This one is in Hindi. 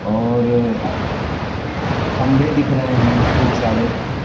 और खंबे दिख रहे हैं खूब सारे।